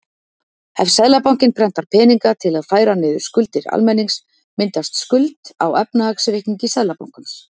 Ef Seðlabankinn prentar peninga til að færa niður skuldir almennings myndast skuld á efnahagsreikningi Seðlabankans.